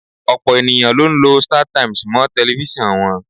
Ọ̀pọ̀ ènìyàn ló ń lọ Startimes mọ́ tẹlifíṣàn wọn.